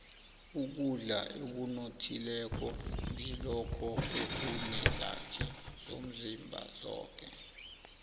ukudla okunothileko ngilokho ekunezakhi zomzimba zoke